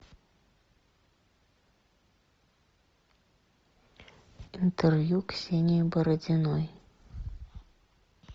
интервью ксении бородиной